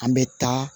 An bɛ taa